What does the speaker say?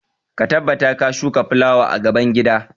Ka tabbata ka shuka fulawa a gaban gida!